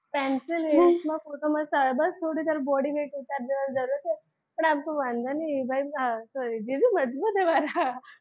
pencil hills માં photo મસ્ત આવે બસ થોડી તારે body weight ઉતારી દેવા ની જરૂર છે પણ આમ તો વાંધો નહી જીજુ મજબુત છે મારા,